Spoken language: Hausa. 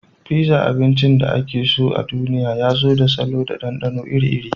Pizza, abincin da ake so a duniya, ya zo da salo da ɗanɗano iri-iri.